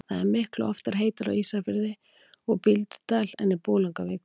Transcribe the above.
það er miklu oftar heitara á ísafirði og bíldudal en í bolungarvík